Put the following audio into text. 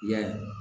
Yan